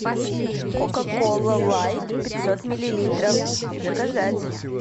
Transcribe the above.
кока кола лайт пятьсот миллилитров заказать